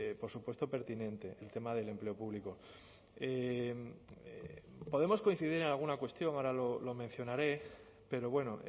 por supuesto pertinente el tema del empleo público podemos coincidir en alguna cuestión ahora lo mencionaré pero bueno